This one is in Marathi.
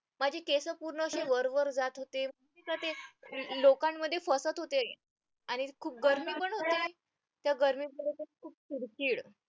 माझे केस पूर्ण असे वरवर जात होते ते लोकांमध्ये फसत होते आणि खूप गर्मी पण होती त्या गर्मी पुढे तर खूप चिडचिड